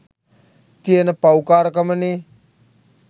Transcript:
තියෙන පව්කාරකමනේ